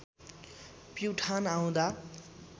प्युठान आउँदा